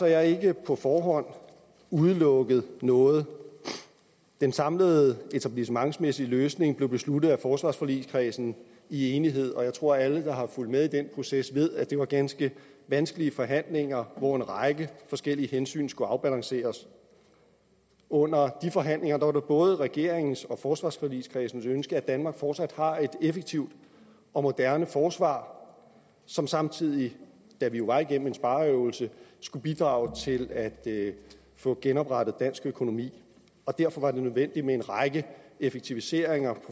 jeg ikke på forhånd udelukket noget den samlede etablissementmæssige løsning blev besluttet af forsvarsforligskredsen i enighed og jeg tror at alle der har fulgt med i den proces ved at det var ganske vanskelige forhandlinger hvor en række forskellige hensyn skulle afbalanceres under de forhandlinger var det både regeringens og forsvarsforligskredsens ønske at danmark fortsat har et effektivt og moderne forsvar som samtidig da vi jo var igennem en spareøvelse skulle bidrage til at få genoprettet dansk økonomi derfor var det nødvendigt med en række effektiviseringer